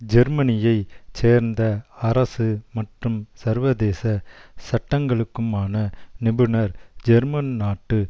ஜெர்மனியைச் சேர்ந்த அரசு மற்றும் சர்வதேச சட்டங்களுக்குமான நிபுணர் ஜெர்மன் நாட்டு